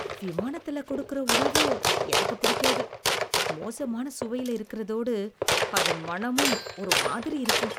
விமானத்துல கொடுக்குற உணவு எனக்குப் பிடிக்காது. மோசமான சுவையில இருக்கிறதோடு, அதன் மணமும் ஒரு மாதிரி இருக்கும்.